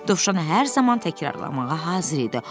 Dovşan hər zaman təkrarlamağa hazır idi.